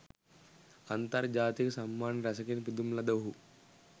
අන්තර්ජාතික සම්මාන රැසකින් පිදුම් ලද ඔහු